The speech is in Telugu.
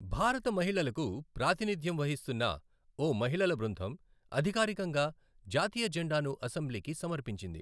భారత మహిళలకు ప్రాతినిధ్యం వహిస్తున్న ఓ మహిళల బృందం, అధికారికంగా జాతీయ జెండాను అసెంబ్లీకి సమర్పించింది.